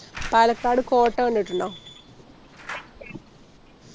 പാലക്കാട് കോട്ട കണ്ടിട്ടുണ്ടോ